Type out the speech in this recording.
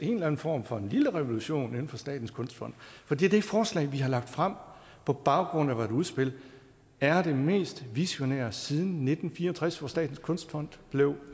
en eller anden form for lille revolution inden for statens kunstfond for det det forslag vi har lagt frem på baggrund af vort udspil er det mest visionære siden nitten fire og tres hvor statens kunstfond blev